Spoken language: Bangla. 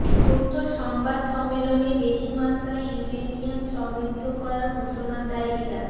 যৌথ সংবাদ সম্মেলনে বেশি মাত্রায় ইউরেনিয়াম সমৃদ্ধ করার ঘোষণা দেয় ইরান